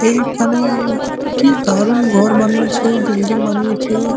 এইখানে - এ কি দারুন ঘর বানিয়েছে বিল্ডিং বানিয়েছে - এ।